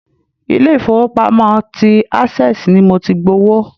Ilé-ifowopamo ti access ni mo ti gbowó.